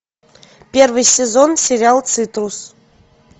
первый сезон сериал цитрус